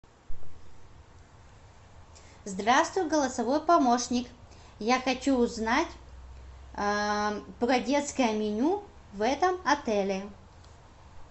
здравствуй голосовой помощник я хочу узнать про детское меню в этом отеле